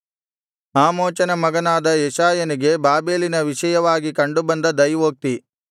ಆಮೋಚನ ಮಗನಾದ ಯೆಶಾಯನಿಗೆ ಬಾಬೆಲಿನ ವಿಷಯವಾಗಿ ಕಂಡು ಬಂದ ದೈವೋಕ್ತಿ